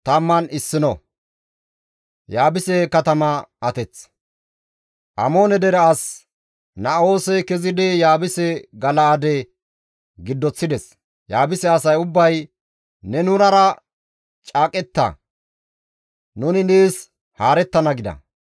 Amoone dere as Na7oosey kezidi Yaabuse Gala7aade giddoththides; Yaabuse asay ubbay, «Ne nunara caaqetta; nuni nees haarettana» gida.